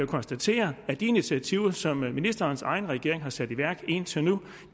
konstatere at de initiativer som ministerens egen regering har sat i væk indtil nu